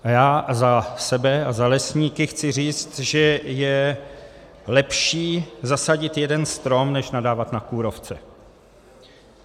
A já za sebe a za lesníky chci říct, že je lepší zasadit jeden strom než nadávat na kůrovce.